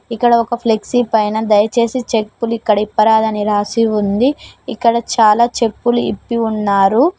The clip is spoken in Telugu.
ఇక్కడ ఒక ఫ్లెక్సీ పైన దయచేసి చెప్పులు ఇక్కడ ఇప్పరాదు అని రాసి ఉంది ఇక్కడ చాలా చెప్పులు ఇప్పి ఉన్నారు.